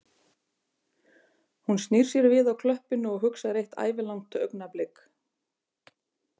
Hún snýr sér við á klöppinni og hugsar eitt ævilangt augnablik